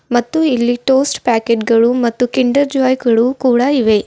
ಮತ್ತು ಇಲ್ಲಿ toast packet ಗಳು ಮತ್ತು ಕಿಂಡರ್ ಜಾಯ್ ಗಳು ಕೂಡ ಇವೆ.